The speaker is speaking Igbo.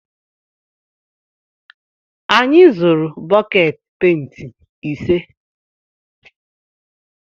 Anyị zụrụ bọket penti ise.